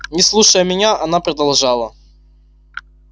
не слушая меня она продолжала